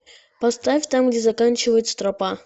поставь там где заканчивается тропа